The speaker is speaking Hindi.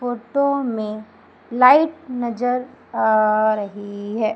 फोटो में लाइट नजर आ रही है।